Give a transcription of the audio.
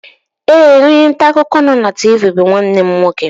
Ee, onye nta akụkọ nọ na TV bụ nwanne m nwoke